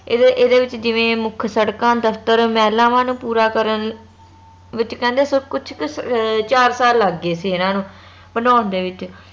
ਇਹਦੇ ਇਹਦੇ ਵਿਚ ਜਿਵੇ ਮੁਖ ਸੜਕਾਂ ਦਫਤਰ ਮਹਿਲਾਵਾਂ ਨੂੰ ਪੂਰਾ ਕਰਨ ਵਿਚ ਕਹਿੰਦੇ ਸਬ ਕੁਛ ਕ ਅਹ ਚਾਰ ਸਾਲ ਲੱਗ ਗਏ ਸੀ ਏਨਾ ਨੂੰ ਬਣੌਨ ਦੇ ਵਿਚ